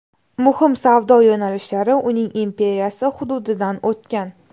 Muhim savdo yo‘nalishlari uning imperiyasi hududidan o‘tgan.